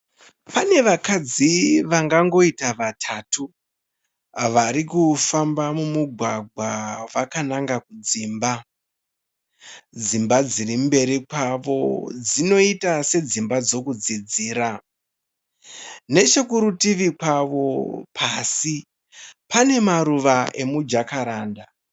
Pane vakadzi vangangoita vatatu vari kufamba mumugwagwa vakananga kudzimba. Dzimba dziri mberi kwavo dzinoita sedzimba dzokudzidzira. Nechekurutivi kwavo pasi pane maruva emujakaranda.